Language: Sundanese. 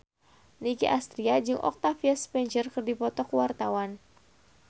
Nicky Astria jeung Octavia Spencer keur dipoto ku wartawan